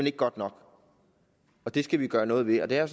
er godt nok det skal vi gøre noget ved og det har